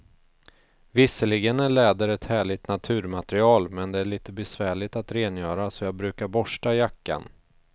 Visserligen är läder ett härligt naturmaterial, men det är lite besvärligt att rengöra, så jag brukar borsta jackan.